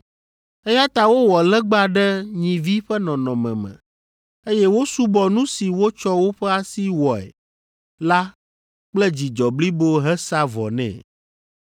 Eya ta wowɔ legba ɖe nyivi ƒe nɔnɔme me, eye wosubɔ nu si wotsɔ woƒe asi wɔe la kple dzidzɔ blibo hesaa vɔ nɛ.